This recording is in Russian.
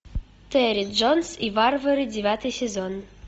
терри джонс и варвары девятый сезон